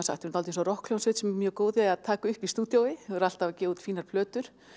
sagt svolítið eins og rokkhljómsveit sem er mjög góð í að taka upp í stúdíói og er alltaf að gefa út fínar plötur